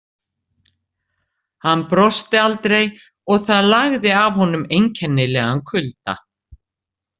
Hann brosti aldrei og það lagði af honum einkennilegan kulda.